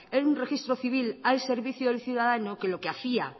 en un registro civil al servicio del ciudadano que lo que hacía